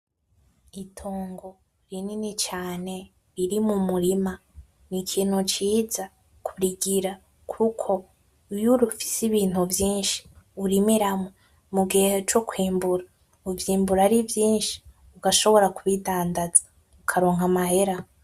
Itongo rinini cane riri mu murima ni ikintu ciza kurigira kuko iyurufise ibintu vyinshi urimiramwo mu gihe co kwimbura uvyimbura ari vyinshi ugashobora kubidandaza ukaronka amahera.